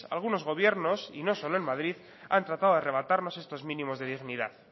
algunos gobiernos y no solo en madrid han tratado de arrebatarnos estos mínimos de dignidad